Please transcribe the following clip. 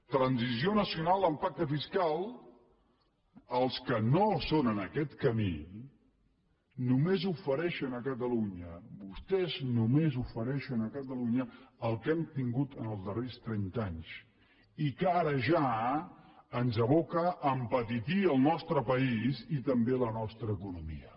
transició nacional amb pacte fiscal els que no són en aquest camí només ofereixen a catalunya vostès només ofereixen a catalunya el que hem tingut en els darrers trenta anys i que ara ja ens aboca a empetitir el nostre país i també la nostra economia